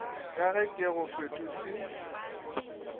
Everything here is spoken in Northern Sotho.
ka ge ke go fetotše